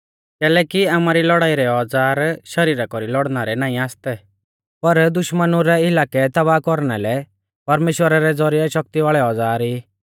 कैलैकि आमारी लौड़ाई रै औज़ार शरीरा कौरी लौड़णा रै नाईं आसतै पर दुश्मनु रै इलाकै तबाह कौरना लै परमेश्‍वरा रै ज़ौरिऐ शक्ति वाल़ै औज़ार ई